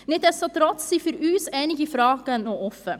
Nichtsdestotrotz sind für uns einige Fragen noch offen.